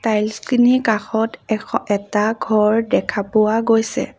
Tiles খিনি কাষত এখ এটা ঘৰ দেখা পোৱা গৈছে।